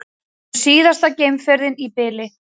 Það verður síðasta geimferðin í bili